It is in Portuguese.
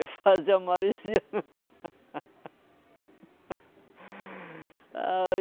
Eu fazia maresia. Ai